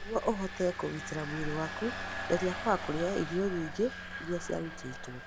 Nĩguo ũhote kũgitĩra mwĩrĩ waku, geria kwaga kũrĩa irio nyingĩ iria ciarutĩtwo.